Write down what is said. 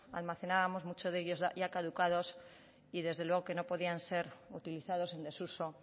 almacenábamos muchos de ellos ya caducados y desde luego que no podían ser utilizados en desuso